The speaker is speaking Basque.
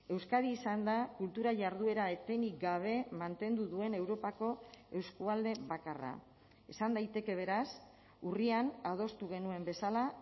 euskadi izanda kultura jarduera etenik gabe mantendu duen europako eskualde bakarra esan daiteke beraz urrian adostu genuen bezala